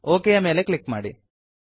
okay ಯ ಮೇಲೆ click ಮಾಡಿ